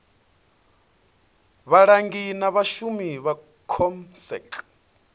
vhalangi na vhashumi vha comsec